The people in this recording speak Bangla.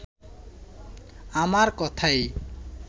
আমার কথাই